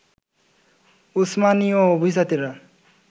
উসমানীয় অভিজাতেরা